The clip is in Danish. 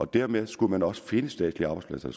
dermed skulle man også finde statslige arbejdspladser